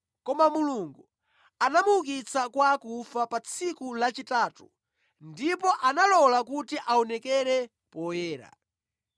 koma Mulungu anamuukitsa kwa akufa pa tsiku lachitatu, ndipo analola kuti aonekere poyera.